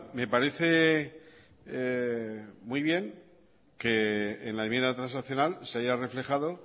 me parece muy bien que en la enmienda transaccional se haya reflejado